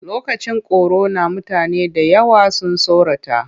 Lokacin korona mutane da yawa sun tsorata.